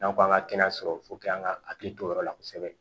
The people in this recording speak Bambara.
N'an ko an ka kɛnɛya sɔrɔ an ka hakili to o yɔrɔ la kosɛbɛ